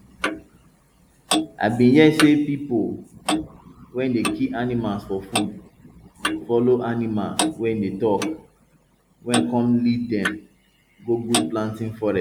i bin hear say pipo we dey kill animals for food follow animals wey dey talk wey come lead dem go good planting forest